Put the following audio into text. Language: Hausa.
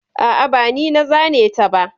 A'a, ba ni na zane ta ba.